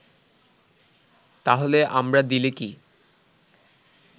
তাহলে আমরা দিলে কি